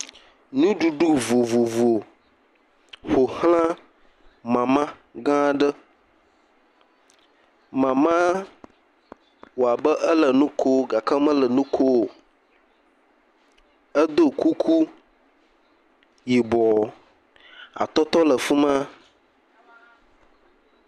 Nuɖuɖu vovovo ƒo xla mama gã aɖe, mama wɔ abe ele nu kom gake mele nu kom o, edo kuku yibɔ, atɔtɔ le fi ma.